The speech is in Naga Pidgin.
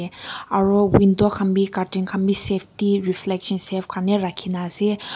aru window khambi cutting kham bi safety reflection safe kane rakhina ase.